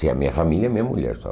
Sim, a minha família é minha mulher só.